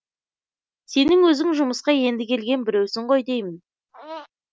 сенің өзің жұмысқа енді келген біреусің ғой деймін